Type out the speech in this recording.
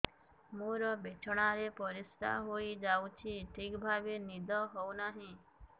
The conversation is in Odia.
ମୋର ବିଛଣାରେ ପରିସ୍ରା ହେଇଯାଉଛି ଠିକ ଭାବେ ନିଦ ହଉ ନାହିଁ